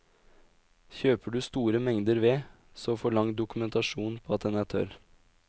Kjøper du store mengder ved, så forlang dokumentasjon på at den er tørr.